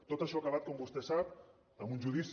tot això ha acabat com vostè sap amb un judici